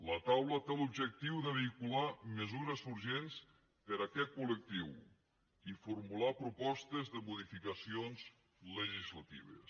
la taula té l’objectiu de vehicular mesures urgents per a aquest col·lectiu i formular propostes de modificacions legislatives